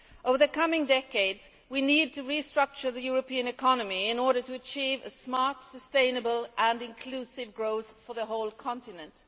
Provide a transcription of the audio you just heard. Over the coming decades we need to restructure the European economy in order to achieve smart, sustainable and inclusive growth for the whole continent.